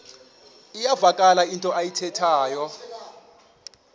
iyavakala into ayithethayo